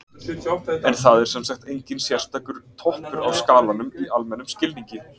en það er sem sagt enginn sérstakur „toppur á skalanum“ í almennum skilningi